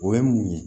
O ye mun ye